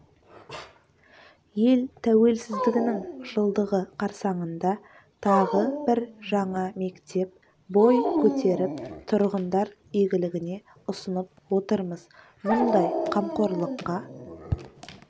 ел тәуелсіздігінің жылдығы қарсаңында тағы бір жаңа мектеп бой көтеріп тұрғындар игілігіне ұсынып отырмыз мұндай қамқорлыққа